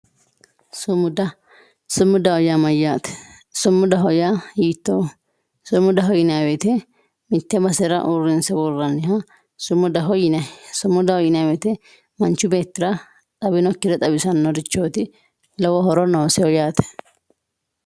sumuda. sumudaho yaa mayyaate sumudaho yaa hiittooho sumudaho yinayii woyiite mitte basera uurrinse worranniha sumudaho yinayii sumudaho yinayii woyiite manchi beettira xawinokkire xawisannorichooti lowo horo noosiho yaate.